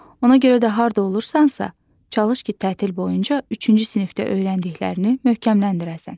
Ona görə də harda olursansa, çalış ki, tətil boyunca üçüncü sinifdə öyrəndiklərini möhkəmləndirəsən.